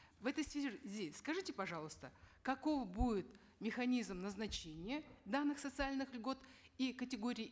в этой связи скажите пожалуйста каков будет механизм назначения данных социальных льгот и категорий